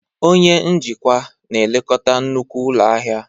Onye njikwa na-elekọta nnukwu ụlọ ahịa